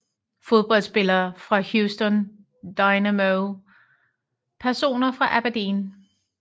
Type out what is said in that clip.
Fodboldspillere fra Houston Dynamo Personer fra Aberdeen